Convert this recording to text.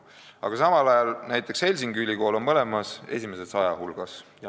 Aga samal ajal on näiteks Helsingi Ülikool mõlemas nimekirjas esimese saja hulgas.